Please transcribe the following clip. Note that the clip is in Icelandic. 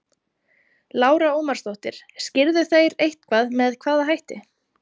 Lára Ómarsdóttir: Skýrðu þeir eitthvað með hvaða hætti?